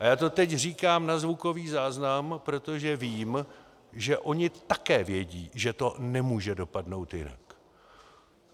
A já to teď říkám na zvukový záznam, protože vím, že oni také vědí, že to nemůže dopadnout jinak.